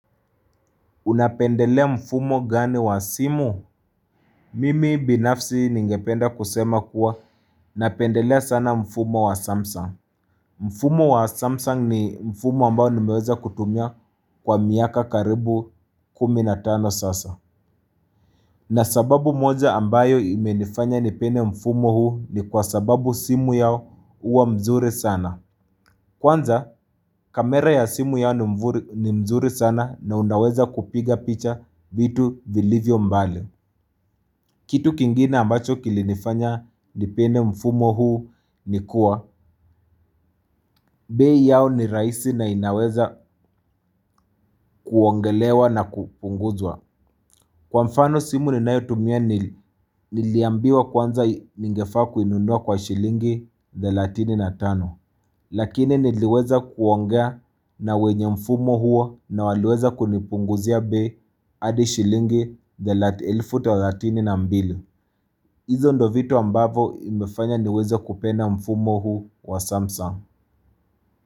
Unapendelea mfumo gani wa simu? Mimi binafsi ningependa kusema kuwa napendelea sana mfumo wa Samsung. Mfumo wa Samsung ni mfumo ambao nimeweza kutumia kwa miaka karibu kumi na tano sasa. Na sababu moja ambayo imenifanya nipende mfumo huu ni kwa sababu simu yao huwa mzuri sana. Kwanza kamera ya simu yao ni mzuri sana na unaweza kupiga picha vitu vilivyo mbali. Kitu kingine ambacho kilinifanya nipende mfumo huu ni kuwa bei yao ni rahisi na inaweza kuongelewa na kupunguzwa Kwa mfano simu ninayo tumia niliambiwa kwanza ningefaa kuinunua kwa shilingi 35 Lakini niliweza kuongea na wenye mfumo huo na waliweza kunipunguzia bei hadi shilingi elfu thelathini na mbili. Izo ndo vitu ambavo imefanya niweze kupenda mfumo huu wa Samsung.